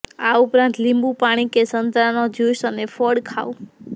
આ ઉપરાંત લીંબુ પાણી કે સંતરાનો જ્યુસ અને ફળ ખાવ